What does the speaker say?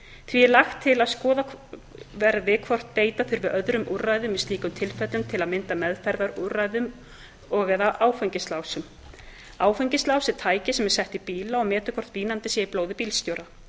er lagt til að skoðað verði hvort beita þurfi öðrum úrræðum í slíkum tilfellum til að mynda meðferðarúrræðum og áfengislásum áfengislás er tæki sem sett er í bíla og metur hvort vínandi sé í blóði bílstjóra